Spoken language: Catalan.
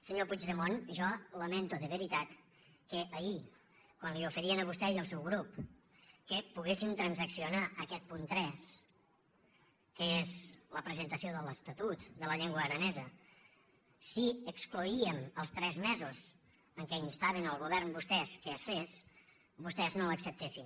senyor puigdemont jo lamento de veritat que ahir quan li oferien a vostè i al seu grup que poguéssim transaccionar aquest punt tres que és la presentació de l’estatut de la llengua aranesa si excloíem els tres mesos en què instaven el govern vostès que es fes vostès no l’acceptessin